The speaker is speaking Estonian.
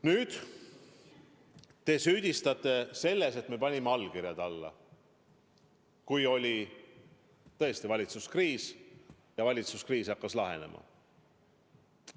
Nüüd te süüdistate meid selles, et me panime allkirjad alla, kui oli tõesti valitsuskriis ja valitsuskriis hakkas lahenema.